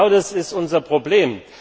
Genau das ist unser Problem.